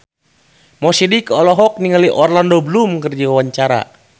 Mo Sidik olohok ningali Orlando Bloom keur diwawancara